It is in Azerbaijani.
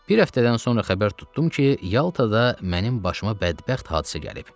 Bir həftədən sonra xəbər tutdum ki, Yaltada mənim başıma bədbəxt hadisə gəlib.